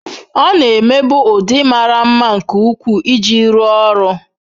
Ọ na-emebu ụdị mara mma nke ukwuu iji rụọ ọrụ.